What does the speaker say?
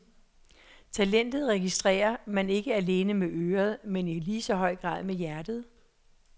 Talentet registrerer man ikke alene med øret, men i lige så høj grad med hjertet.